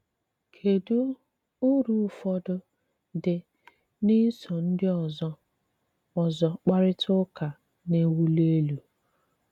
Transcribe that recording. kedụ ùrụ̀ ụfọdụ́ dị́ n’ísò ndị ọzọ́ ọzọ́ kparịta ụka na-ewuli elú?